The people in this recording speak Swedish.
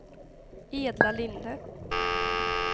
Edla Linde